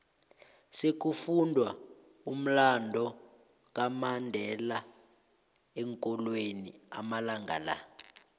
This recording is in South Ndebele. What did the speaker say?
sekufundwa umlando kamandela eenkolweni amalanga la